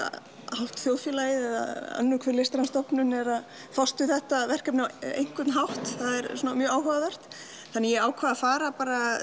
hálft þjóðfélagið eða önnur hver listræn stofnun er að fást við þetta verkefni á einn hátt það er mjög áhugavert þannig að ég ákvað að fara